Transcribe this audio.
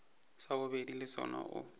sa bobedi le sona o